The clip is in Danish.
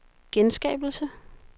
genskabelse